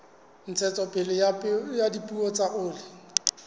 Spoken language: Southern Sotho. ntshetsopele ya dipeo tsa oli